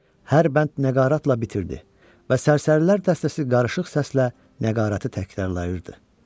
Hər bənd nəqaratla bitirdi və sərsərilər dəstəsi qarışıq səslə nəqaratı təkrarlayırdı.